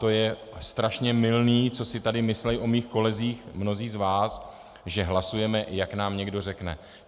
To je strašně mylné, co si tady myslí o mých kolezích mnozí z vás, že hlasujeme, jak nám někdo řekne.